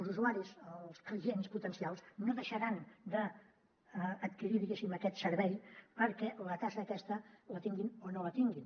els usuaris els clients potencials no deixaran d’adquirir diguéssim aquest servei perquè la taxa aquesta la tinguin o no la tinguin